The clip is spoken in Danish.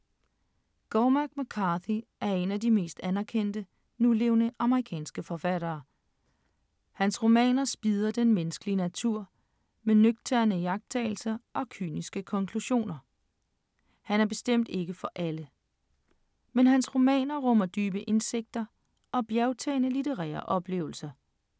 Cormac McCarthy er en af de mest anerkendte nulevende amerikanske forfattere. Hans romaner spidder den menneskelige natur med nøgterne iagttagelser og kyniske konklusioner. Han er bestemt ikke for alle, men hans romaner rummer dybe indsigter og bjergtagende litterære oplevelser.